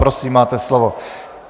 Prosím, máte slovo.